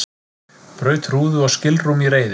Braut rúðu og skilrúm í reiði